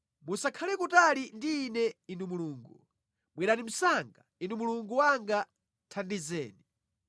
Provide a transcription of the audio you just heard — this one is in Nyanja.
Musakhale kutali ndi ine Inu Mulungu, bwerani msanga, Inu Mulungu wanga; thandizeni.